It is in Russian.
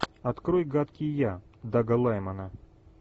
открой гадкий я дага лаймана